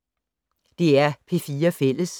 DR P4 Fælles